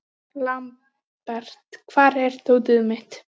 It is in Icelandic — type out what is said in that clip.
Lambert, hvar er dótið mitt?